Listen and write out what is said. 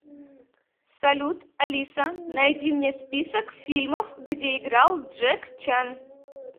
салют алиса найди мне список фильмов где играл джек чан